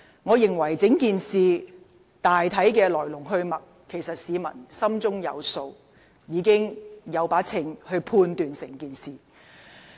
我認為市民對整件事大體上的來龍去脈，心中自有定斷。